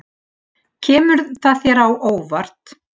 Kemur það þér á óvart?